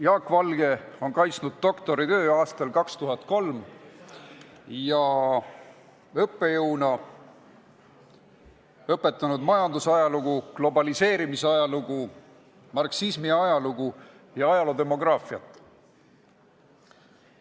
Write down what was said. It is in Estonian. Jaak Valge on kaitsnud 2003. aastal doktoritöö ning õpetanud õppejõuna majandusajalugu, globaliseerumise ajalugu, marksismi ajalugu ja ajaloodemograafiat.